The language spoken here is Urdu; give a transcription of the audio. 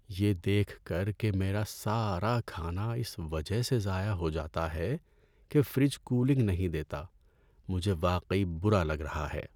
یہ دیکھ کر کہ میرا سارا کھانا اس وجہ سے ضائع ہو جاتا ہے کہ فریج کولنگ نہیں دیتا، مجھے واقعی برا لگ رہا ہے۔